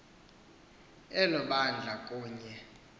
elo bandla kunye